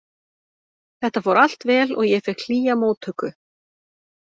Þetta fór allt vel og ég fékk hlýja móttöku.